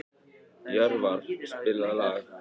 Jörvar, spilaðu lag.